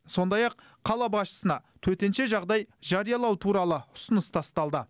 сондай ақ қала басшысына төтенше жағдай жариялау туралы ұсыныс тасталды